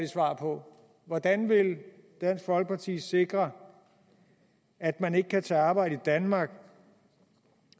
svar på hvordan vil dansk folkeparti sikre at man ikke kan tage arbejde i danmark